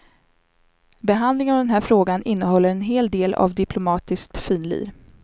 Behandlingen av den här frågan innehåller en hel del av diplomatiskt finlir.